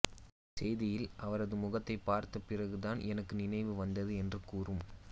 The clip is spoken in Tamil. செய்தியில் அவனது முகத்தை பார்த்தபிறகுதான் எனக்கு நினைவு வந்தது என்று கூறும்